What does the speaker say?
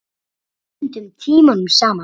Stundum tímunum saman.